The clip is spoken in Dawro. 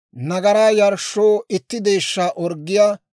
nagaraa yarshshoo itti deeshshaa orggiyaa;